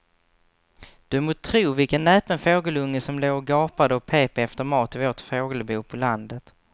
Du må tro vilken näpen fågelunge som låg och gapade och pep efter mat i vårt fågelbo på landet.